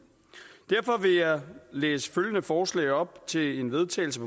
derfor vil jeg læse følgende forslag til vedtagelse